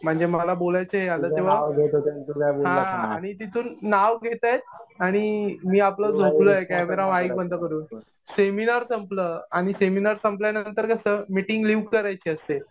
म्हणजे मला बोलायचं आता तेव्हा हा आणि तिथून नाव घेतायेत आणि मी आपलं झोपलोय कॅमेरा, माईक बंद करून. सेमिनार संपलं. सेमिनार संपल्यानंतर कसं मिटिंग लिव करायची असते.